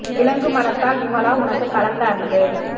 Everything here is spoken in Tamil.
விலங்குமனத்தால் விமலா உனக்குக் கலந்த அன்பு